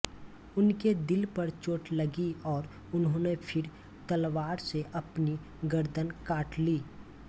उनके दिल पर चोट लगी और उन्होंने फिर तलवार से अपनी गर्दन काट ली